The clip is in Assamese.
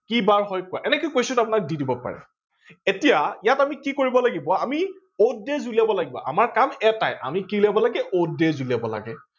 কি বাৰ হয় কোৱা। এনেকে question অপোনাক দি দিব পাৰে ।এতিয়া ইয়াত আমি কি কৰিব লাগিব আমি odd days উলিয়াব লাগিব। আমাৰ কাম এটাই আমি কি উলিয়াব লাগে odd days উলিয়াব লাগে